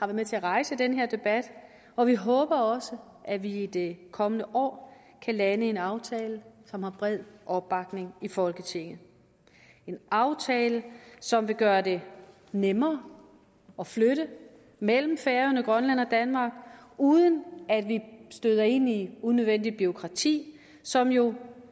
med til at rejse den her debat og vi håber også at vi i det kommende år kan lande en aftale som har bred opbakning i folketinget en aftale som vil gøre det nemmere at flytte mellem færøerne og grønland og danmark uden at vi støder ind i unødvendigt bureaukrati som jo